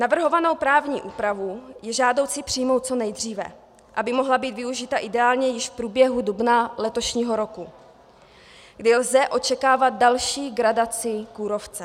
Navrhovanou právní úpravu je žádoucí přijmout co nejdříve, aby mohla být využita ideálně již v průběhu dubna letošního roku, kdy lze očekávat další gradaci kůrovce.